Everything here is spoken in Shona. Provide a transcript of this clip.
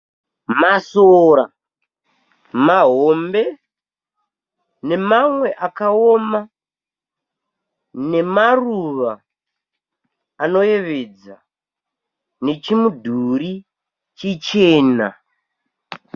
Masora mahombe nemamwe akaoma nemaruva anoyevedza nechimudhuri chichena.